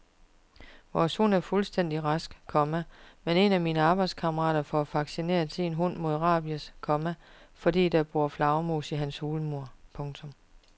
Vores hund er fuldstændig rask, komma men en af mine arbejdskammerater får vaccineret sin hund mod rabies, komma fordi der bor flagermus i hans hulmur. punktum